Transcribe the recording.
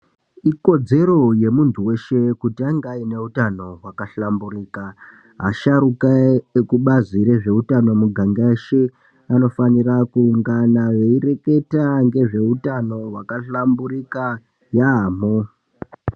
Ikodzero yemuntu weshe kuti ange aine utano hwakahlamburika. Asharuka ekubazi rezveutano miganga yeshe, anofanira kuungana veireketa ngezveutano hwakahlamburika yaamho.